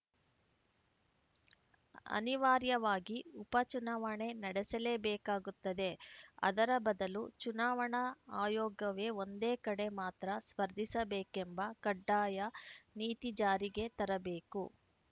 ಅನಿವಾರ್ಯವಾಗಿ ಉಪಚುನಾವಣೆ ನಡೆಸಲೇಬೇಕಾಗುತ್ತದೆ ಅದರ ಬದಲು ಚುನಾವಣಾ ಆಯೋಗವೆ ಒಂದೇ ಕಡೆ ಮಾತ್ರ ಸ್ಪರ್ಧಿಸಬೇಕೆಂಬ ಕಡ್ಡಾಯ ನೀತಿ ಜಾರಿಗೆ ತರಬೇಕು